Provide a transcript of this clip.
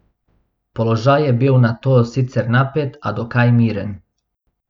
Položaj je bil nato sicer napet, a dokaj miren.